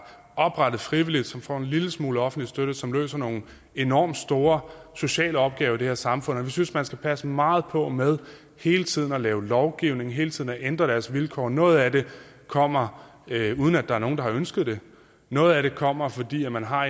oprettet frivilligt som får en lille smule offentlig støtte og som løser nogle enormt store sociale opgaver i det her samfund og vi synes man skal passe meget på med hele tiden at lave lovgivning hele tiden at ændre deres vilkår noget af det kommer uden at der er nogen der har ønsket det noget af det kommer fordi man har